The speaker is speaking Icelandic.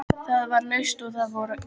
Það var laust og þar voru góð herbergi.